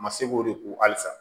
Ma se k'o de ko halisa